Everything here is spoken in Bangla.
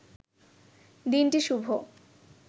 দিনটি শুভ